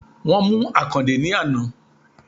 Wón mú Àkàndé ní àná